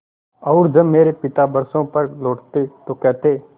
और जब मेरे पिता बरसों पर लौटते तो कहते